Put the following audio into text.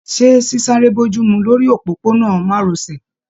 Ṣe sisare bojumu lórí òpópó-ònà márosẹ̀.